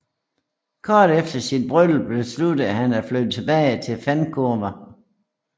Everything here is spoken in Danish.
Kort efter sit bryllup besluttede han at flytte tilbage til Vancouver